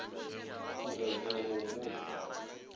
phura ke a go botša